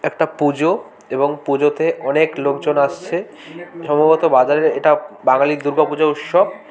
একটা পুজো এবং পুজোতে অনেক লোকজন আসছে সম্ভবত বাজারের ইটা বাঙালির দূর্গা পুজো উৎসব।